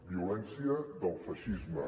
violència del feixisme